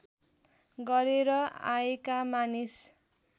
गरेर आएका मानिस